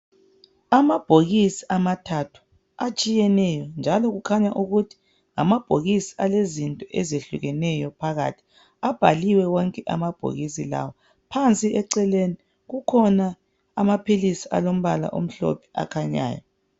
Amabhokisi amathathu atshiyeneyo njalo kukhanya ukuthi ngamabhokisi alezinto ezehlukeneyo phakathi abhaliwe wonke amabhokisi lawa phansi eceleni kukhona amaphilisi alombala omhlophe akhanyayo.